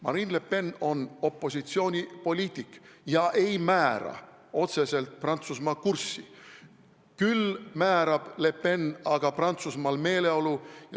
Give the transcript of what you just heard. Marine Le Pen on opositsioonipoliitik ega määra otseselt Prantsusmaa kurssi, küll määrab Le Pen aga Prantsusmaal meeleolu.